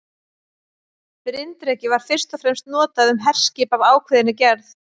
Bryndreki var fyrst og fremst notað um herskip af ákveðinni gerð.